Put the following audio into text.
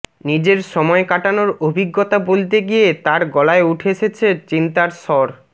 নিজের সময় কাটানোর অভিজ্ঞতা বলতে গিয়ে তার গলায় উঠে এসেছে চিন্তার স্বর